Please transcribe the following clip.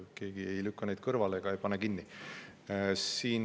Keegi ei lükka neid kõrvale ega pane kinni.